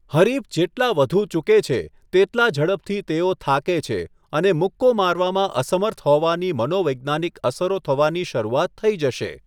હરીફ જેટલા વધુ ચૂકે છે, તેટલા ઝડપથી તેઓ થાકે છે અને મુક્કો મારવામાં અસમર્થ હોવાની મનોવૈજ્ઞાનિક અસરો થવાની શરૂઆત થઇ જશે.